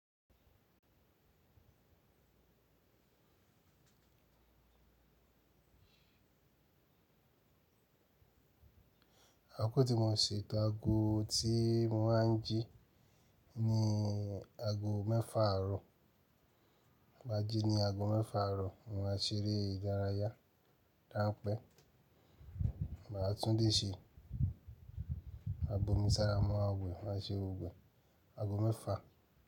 Akoko tí mò ṣe to ago tí mo máa ń jí ni ago mẹ́fà àrọ̀. N báa jí ní ago mẹ́fà àrọ̀, mo máa ṣeré ìdárayá. Dánpẹ́, màá tunle ṣe, maa bomi sára maa maa we, màá ṣe gbogboe ago mẹ́fà.